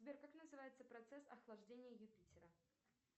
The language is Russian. сбер как называется процесс охлаждения юпитера